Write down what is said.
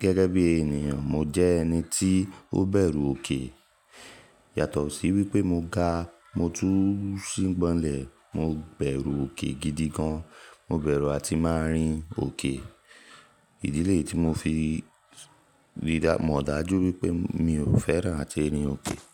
gẹ́gẹ́ bí ènìyàn mo jẹ ẹni tí ó bẹ̀rù òkè. Yàtọ̀ sí wípé mo ga, mo tú sí gbọ́nlẹ̀, mo bẹ̀rù òkè gidi gan. Mo bẹ̀rù àti máa rin òkè. Ìdílé tí mo fi rí, mo dájú wípé mi ò fẹ́ràn àti rin òkè.